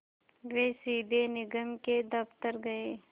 वे सीधे निगम के दफ़्तर गए